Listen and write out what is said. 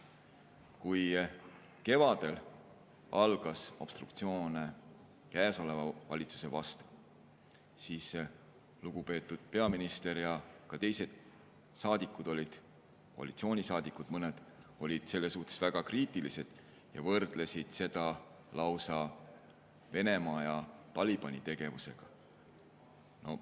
Kui kevadel algas obstruktsioon praeguse valitsuse vastu, siis lugupeetud peaminister ja ka saadikud, mõned koalitsioonisaadikud, olid selle suhtes väga kriitilised ja võrdlesid seda lausa Venemaa ja Talibani tegevusega.